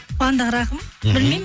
қуандық рахым мхм білмеймін